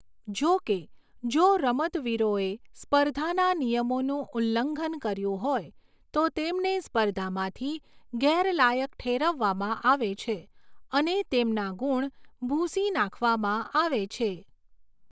જોકે, જો રમતવીરોએ સ્પર્ધાના નિયમોનું ઉલ્લંઘન કર્યું હોય તો તેમને સ્પર્ધામાંથી ગેરલાયક ઠેરવવામાં આવે છે અને તેમના ગુણ ભૂંસી નાખવામાં આવે છે.